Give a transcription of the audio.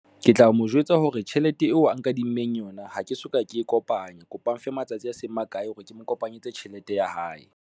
Ke tla mo jwetsa hore tjhelete eo a nkadimmeng yona ha ke soka ke e kopanya kopang matsatsi a seng makae hore ke kopanyetse tjhelete ya hae.